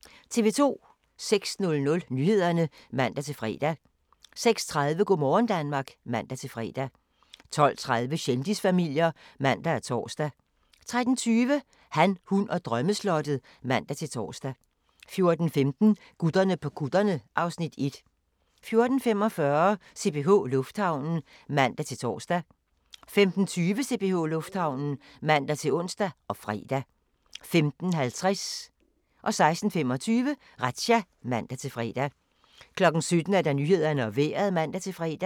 06:00: Nyhederne (man-fre) 06:30: Go' morgen Danmark (man-fre) 12:30: Kendisfamilier (man og tor) 13:20: Han, hun og drømmeslottet (man-tor) 14:15: Gutterne på kutterne (Afs. 1) 14:45: CPH Lufthavnen (man-tor) 15:20: CPH Lufthavnen (man-ons og fre) 15:50: Razzia (man-fre) 16:25: Razzia (man-fre) 17:00: Nyhederne og Vejret (man-fre)